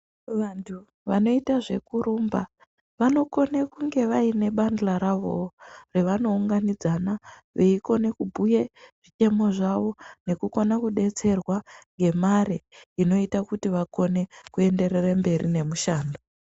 Vantu vanoyita zvekurumba, vanokone kunge vayine bandla ravo, revanowunganidzana, veyikone kubuye zvitemo zvavo, nekukona kudetserwa ngemare inoyita kuti vakone kuyenderere mberi nemushando.